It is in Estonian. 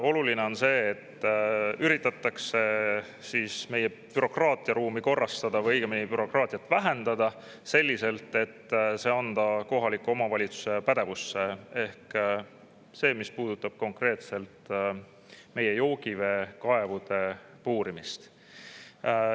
Oluline on see, et üritatakse meie bürokraatiaruumi korrastada või õigemini bürokraatiat vähendada selliselt, et anda kohaliku omavalitsuse pädevusse see, mis puudutab konkreetselt joogiveekaevude puurimist.